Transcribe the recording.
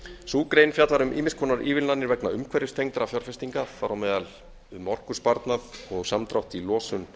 sú grein fjallar um ýmiss konar ívilnanir vegna umhverfistengdra fjárfestinga þar á meðal um orkusparnað og samdrátt í losun